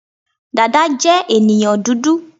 Dada je ènìyàn dúdú